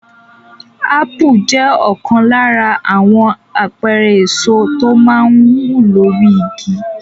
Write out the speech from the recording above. Ápù jẹ́ ọ̀kan lára àwọn àpẹẹrẹ èso tó máa ń wù lórí igi.